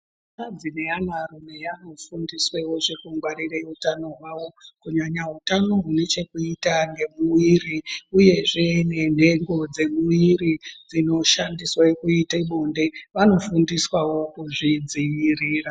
Anakadzi neanrume anofundiswewo kungwarire utano hwavo kunyanya utano hune chekuita ngemumwiri uyezve nenhengo dzemumwiri dzinoshandiswe kuite bonde vanofundiswawo kuzvidzivirira.